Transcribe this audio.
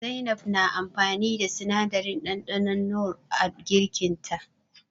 Zainab na amfani da sinadarin ɗanɗanon nor a girkin ta.